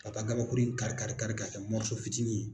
Ka taa gabakurun in karikari karikari ka kɛ fitiinin ye.